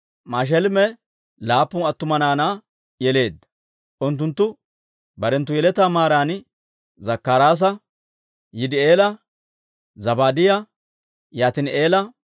Mashelemee laappun attuma naanaa yeleedda; unttunttu barenttu yeletaa maaran Zakkaraasa, Yidi'eela, Zabaadiyaa, Yaatini'eela,